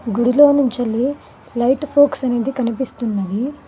గుడిలో నుంచల్లి light focus అనేది కనిపిస్తున్నది.